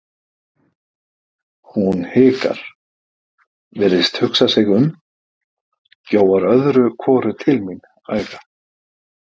Hún hikar, virðist hugsa sig um, gjóar öðru hvoru til mín auga.